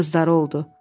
Bir qızları oldu.